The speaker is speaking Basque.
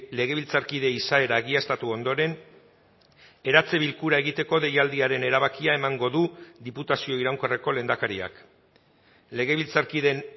legebiltzarkide izaera egiaztatu ondoren eratze bilkura egiteko deialdiaren erabakia emango du diputazio iraunkorreko lehendakariak legebiltzarkideen